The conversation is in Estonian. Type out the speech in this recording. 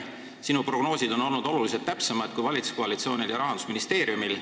Sinu prognoosid on olnud oluliselt täpsemad kui valitsuskoalitsioonil ja Rahandusministeeriumil.